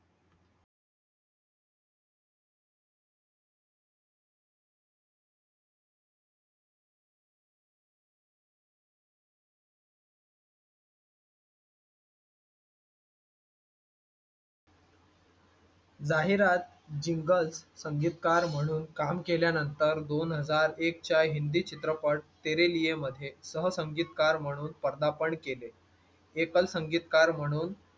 जाहिरात जिंगल संगीतकार म्हणून काम केल्यानंतर दोन हजार एक च्या हिन्दी चित्रपट तेरे लिए मध्ये सह संगीतकार म्हणून पदार्पण केले एकल संगीतकार म्हणून